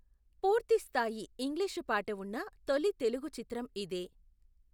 పూర్తి స్థాయి ఇంగ్లీషు పాట ఉన్న తొలి తెలుగు చిత్రం ఇదే.